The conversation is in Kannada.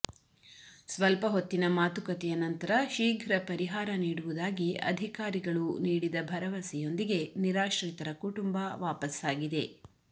ಸ್ವಲ್ಪ ಹೊತ್ತಿನ ಮಾತುಕತೆಯ ನಂತರ ಶೀಘ್ರ ಪರಿಹಾರ ನೀಡುವುದಾಗಿ ಅಧಿಕಾರಿಗಳು ನೀಡಿದ ಭರವಸೆಯೊಂದಿಗೆ ನಿರಾಶ್ರಿತರ ಕುಟುಂಬ ವಾಪಸ್ಸಾಗಿದೆ